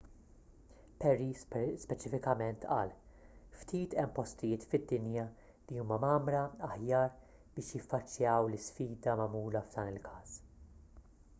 perry speċifikament qal ftit hemm postijiet fid-dinja li huma mgħammra aħjar biex jiffaċċjaw l-isfida magħmula f'dan il-każ